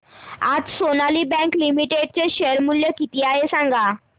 आज Sonali bank limited चे share मूल्य किती आहे सांगा